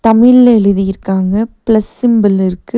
தமிழ்ல எழுதியிருக்காங்க plus symbol இருக்கு.